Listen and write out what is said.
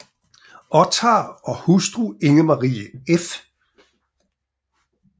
Ottar og hustru Inger Marie f